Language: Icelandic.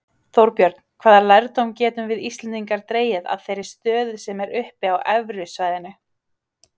Þorbjörn, hvaða lærdóm getum við Íslendingar dregið að þeirri stöðu sem er uppi á evrusvæðinu?